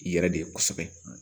I yɛrɛ de ye kosɛbɛ